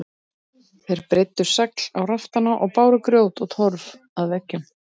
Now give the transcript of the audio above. Þeir breiddu segl á raftana og báru grjót og torf að veggjum.